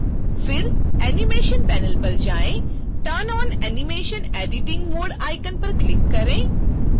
फिर animation panel पर जाएँ turn on animate editing mode icon पर क्लिक करें